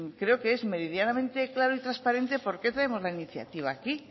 creo que es meridianamente claro y transparente por qué traemos la iniciativa aquí